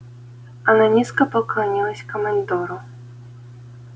она низко поклонилась командору